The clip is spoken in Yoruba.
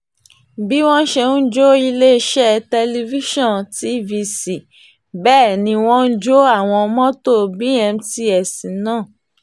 bí wọ́n ṣe ń jó iléeṣẹ́ tẹlifíṣọ̀n tvc bẹ́ẹ̀ ni wọ́n jọ àwọn mọ́tò bmts náà